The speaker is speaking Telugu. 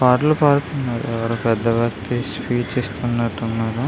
పాటలు పాడుతున్నారు. ఎవరో పెద్దవారు స్పీచ్ ఇస్తునట్టు ఉన్నారు.